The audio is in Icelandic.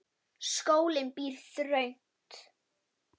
Skólinn býr þröngt.